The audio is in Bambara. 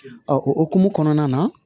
o hokumu kɔnɔna na